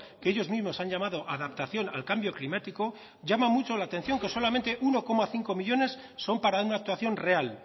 que ellos mismos han llamado adaptación al cambio climático llama mucho la atención que solamente uno coma cinco millónes son para una actuación real